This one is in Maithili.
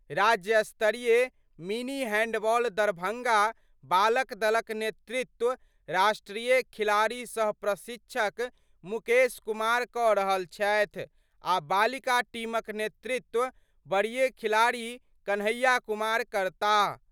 राज्य स्तरीय मिनी हैंडबॉल दरभंगा बालक दलक नेतृत्व राष्ट्रीय खिलाड़ी सह प्रशिक्षक मुकेश कुमार कऽ रहल छथि आ बालिका टीमक नेतृत्व वरीय खिलाड़ी कन्हैया कुमार करताह।